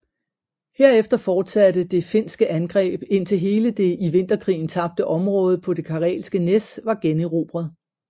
Herefter fortsatte det finske angreb indtil hele det i Vinterkrigen tabte område på det Karelske Næs var generobret